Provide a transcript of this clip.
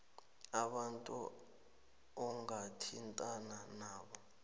abantu ongathintana nabo